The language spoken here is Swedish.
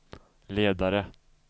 ledare